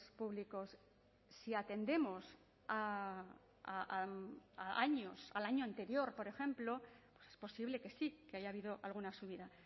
públicos si atendemos a años al año anterior por ejemplo es posible que sí que haya habido alguna subida